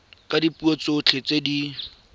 ka dipuo tsotlhe tse di